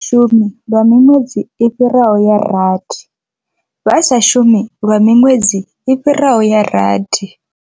Shumi lwa miṅwedzi i fhiraho ya rathi. Vha sa shumi lwa miṅwedzi i fhiraho ya rathi.